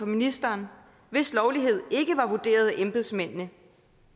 ministeren hvis lovlighed ikke var vurderet af embedsmændene